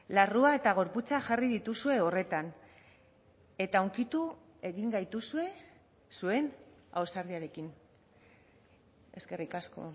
larrua eta gorputza jarri dituzue horretan eta hunkitu egin gaituzue zuen ausardiarekin eskerrik asko